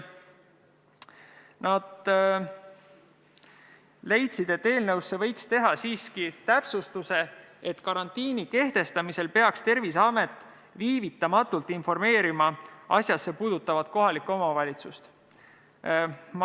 Nad leidsid, et eelnõus võiks teha siiski täpsustuse, et karantiini kehtestamise korral peaks Terviseamet viivitamatult informeerima asjasse puutuvat kohalikku omavalitsust.